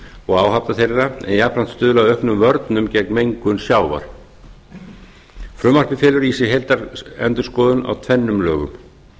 og áhafna þeirra en jafnframt stuðlað að auknum vörnum gegn mengun sjávar frumvarpið felur í sér heildarendurskoðun á tvennum lögum